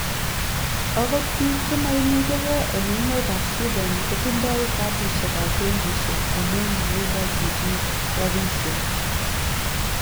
okot biik che maimuche ge en emet ab Swiden kotindoi katisiek ab benkisiek amun maikochin chi rapisiek